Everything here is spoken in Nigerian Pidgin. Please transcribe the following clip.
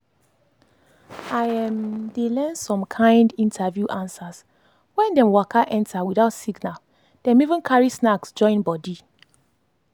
i dey learn some kind interview answers when dem waka enter without signal dem even carry snacks join body.